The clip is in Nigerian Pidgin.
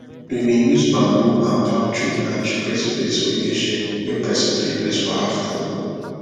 we bin use bamboo and palm tree branch create place wey get shade wey person fit rest for aftanoon